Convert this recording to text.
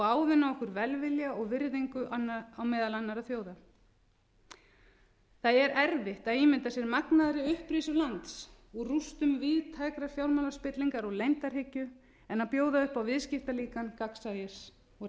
ávinna okkur velvilja og virðingu meðal annarra þjóða það er erfitt að ímynda sér magnaðri upprisu lands úr rústum víðtækrar fjármálaspillingar og leyndarhyggju en að bjóða upp á viðskiptalíkan gagnsæis og réttlætis